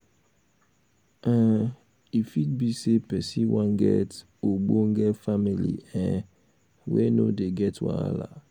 um e fit be sey person wan get ogbonge family um wey no dey get wahala um